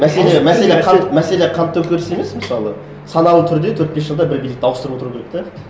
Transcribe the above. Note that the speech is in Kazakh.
мәселе мәселе қан мәселе қан төңкеріс емес мысалы саналы түрде төрт бес жылда бір билікті ауыстырып отыру керек те